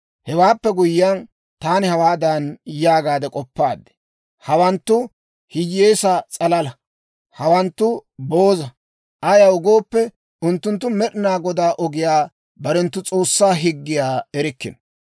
Hewaappe guyyiyaan, taani hawaadan yaagaade k'oppaad; «Hawanttu hiyyeesaa s'alala; hawanttu booza. Ayaw gooppe, unttunttu Med'inaa Godaa ogiyaa, barenttu S'oossaa higgiyaa erikkino.